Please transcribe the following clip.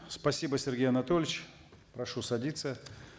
спасибо сергей анатольевич прошу садиться